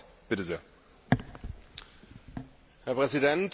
Herr Präsident, Herr Kommissar, liebe Kolleginnen und Kollegen!